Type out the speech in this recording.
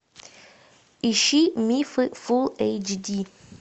ищи мифы фулл эйч ди